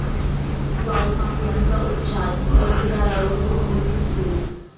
वाळू माफियांचा उच्छाद, तहसीलदारावर रोखलं पिस्तुल